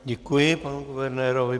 Děkuji panu guvernérovi.